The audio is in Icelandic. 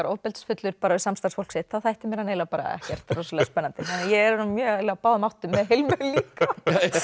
ofbeldisfullur við samstarfsfólk sitt þá þætti mér hann eiginlega ekkert rosalega spennandi ég er nú mjög á báðum áttum með Hilmu líka